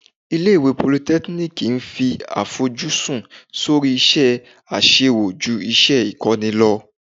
Ilé ìwé politẹ́kíníìkì ń fi àfojúsùn sórí iṣẹ́ àṣewò ju iṣẹ́ ìkọ́ni lọ.